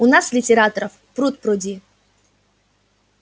у нас литераторов пруд-пруди